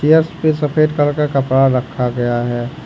Chairs पे सफेद colour का कपड़ा रखा गया है।